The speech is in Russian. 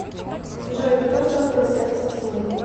джой кто создал сердце тьмы